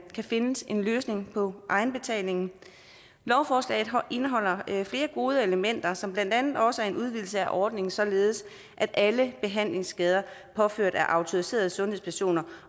kan findes en løsning på egenbetalingen lovforslaget indeholder flere gode elementer som blandt andet også er en udvidelse af ordningen således at alle behandlingsskader påført af autoriserede sundhedspersoner